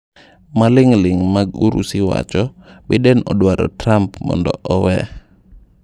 Maling ling mag Urusi: Biden odwaro Trump mondo 'owee'